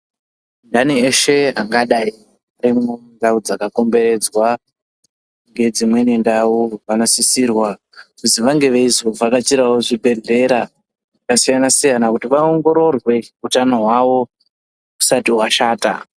Andani eshe ane ndau dzakakomberedzwa nezvimweni ndau vanosisirwa kunge veizodetserwawo muzvibhedhlera zvakasiyana siyana kuzi vaongororwe hutano hwavo husati hwashata.